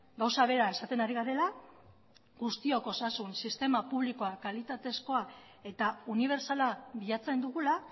gauza bera esaten ari garela guztiok osasun sistema publikoa kalitatezkoa eta unibertsala bilatzen dugula